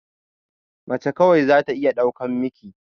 Mace kawai zata iya ɗaukan ciki